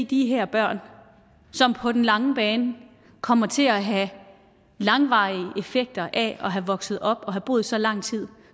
de her børn som på den lange bane kommer til at have langvarige effekter af at have vokset op og have boet så lang tid